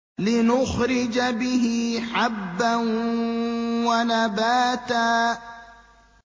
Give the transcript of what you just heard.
لِّنُخْرِجَ بِهِ حَبًّا وَنَبَاتًا